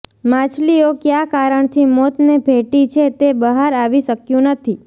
માછલીઓ કયા કારણથી મોતને ભેટી છે તે બહાર આવી શક્યુ નથી